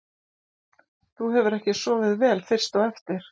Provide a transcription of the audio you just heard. Þú hefur ekki sofið vel fyrst á eftir?